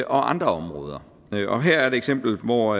andre områder her er et eksempel hvor